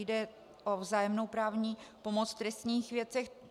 Jde o vzájemnou právní pomoc v trestních věcech.